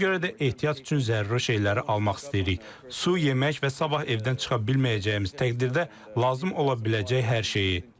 Ona görə də ehtiyat üçün zəruri şeyləri almaq istəyirik, su, yemək və sabah evdən çıxa bilməyəcəyimiz təqdirdə lazım ola biləcək hər şeyi.